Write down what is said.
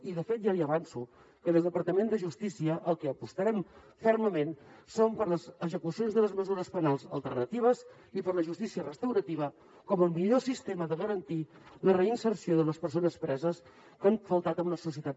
i de fet ja li avanço que des del departament de justícia pel que apostarem fermament és per les execucions de les mesures penals alternatives i per la justícia restaurativa com el millor sistema de garantir la reinserció de les persones preses que han faltat en una societat